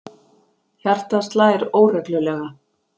Hjartað slær óreglulega.